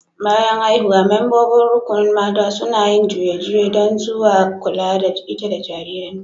Bayan haihuwa, membobin rukunin mata suna yin juye-juye dan zuwa kulla da ita da jaririn ta.